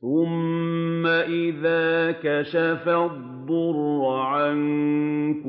ثُمَّ إِذَا كَشَفَ الضُّرَّ عَنكُمْ